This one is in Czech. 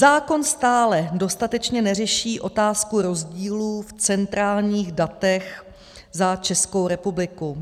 Zákon stále dostatečně neřeší otázku rozdílů v centrálních datech za Českou republiku.